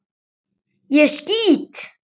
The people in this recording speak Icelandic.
Ég skýt!